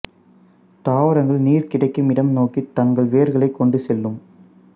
தாவரங்கள் நீர் கிடைக்கும் இடம் நோக்கி தங்கள் வேர்களைக் கொண்டுசெல்லும்